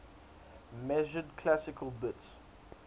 measured classical bits